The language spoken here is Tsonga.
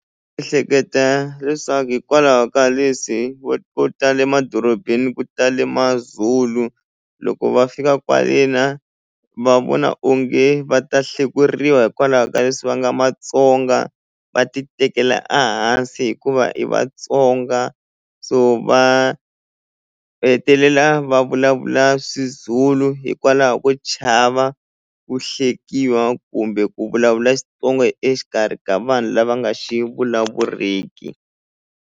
Ehleketa leswaku hikwalaho ka leswi vo vo tala emadorobeni ku tale Mazulu loko va fika kwale na va vona onge va ta hlekuriwa hikwalaho ka leswi va nga Matsonga va ti tekela a hansi hikuva i Vatsonga so va hetelela va vulavula swizulu hikwalaho ko chava ku hlekiwa kumbe ku vulavula Xitsonga exikarhi ka vanhu lava nga xi vulavuriki.